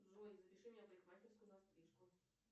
джой запиши меня в парикмахерскую на стрижку